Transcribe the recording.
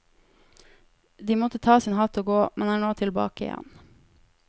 De måtte ta sin hatt og gå, men er nå tilbake igjen.